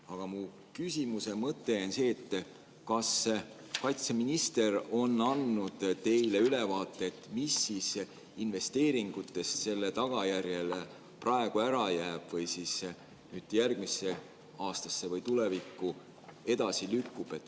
Aga mu küsimuse mõte on see: kas kaitseminister on andnud teile ülevaate, mis siis investeeringutest selle tagajärjel praegu ära jääb või järgmisse aastasse või tulevikku edasi lükkub?